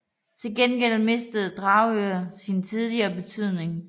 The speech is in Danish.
Til gengæld mistede Dragør sin tidligere betydning